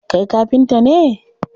Kai kafnta ne?